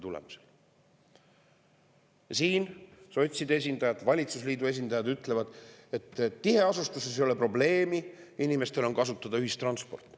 Siin sotside esindajad, valitsusliidu esindajad ütlevad, et tiheasustuses ei ole probleemi, inimestel on kasutada ühistransport.